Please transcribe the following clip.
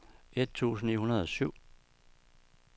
et tusind ni hundrede og syv